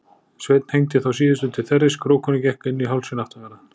Sveinn hengdi þá síðustu til þerris, krókurinn gekk inn í hálsinn aftanverðan.